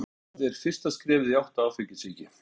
Það er fyrsta skrefið í átt að áfengissýki.